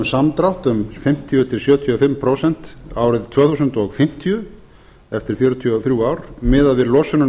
samdrátt um fimmtíu til sjötíu og fimm prósent árið tvö þúsund fimmtíu eftir fjörutíu og þrjú ár miðað við losunina